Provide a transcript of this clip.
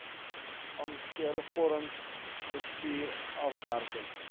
ankervorm tekstuur afwerking